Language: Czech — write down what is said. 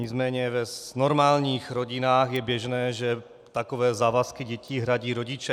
Nicméně v normálních rodinách je běžné, že takové závazky dětí hradí rodiče.